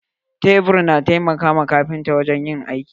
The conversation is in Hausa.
Tebur na aiki na taimaka ma kafinta wajen yin aiki.